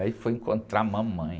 Aí foi encontrar a mamãe.